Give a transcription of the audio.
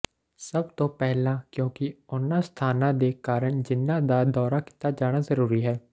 ਸਭ ਤੋਂ ਪਹਿਲਾਂ ਕਿਉਂਕਿ ਉਨ੍ਹਾਂ ਸਥਾਨਾਂ ਦੇ ਕਾਰਨ ਜਿਨ੍ਹਾਂ ਦਾ ਦੌਰਾ ਕੀਤਾ ਜਾਣਾ ਜ਼ਰੂਰੀ ਹੈ